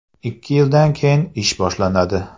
Ikki yildan keyin ish boshlanadi.